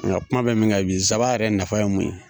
Nga kuma bɛ min kan bi zaba yɛrɛ nafa ye mun ye ?